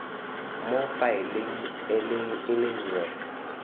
mo faeleng e le nngwe